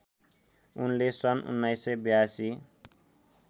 उनले सन् १९८२